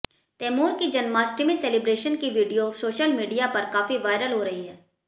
तैमूर की जन्माष्टमी सेलिब्रेशन की video social media पर काफी वायरल हो रही है